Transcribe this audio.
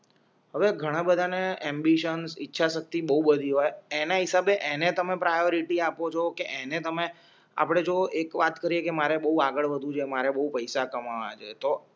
હવે ઘણા બધાને એમિબીશનસ ઈચ્છા શક્તિ બહુ બધી હોય એના હિસાબે એને તમે પ્રયોરિટી આપો છો કે એને તમે આપડે જો એક વાત કરીએ કે મારે બહુ આગળ વધવું છે અમારે બહુ પૈસા કમાવા ના છે તો